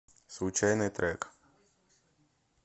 случайный трек